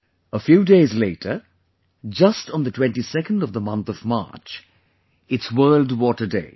A few days later, just on the 22nd of the month of March, it's World Water Day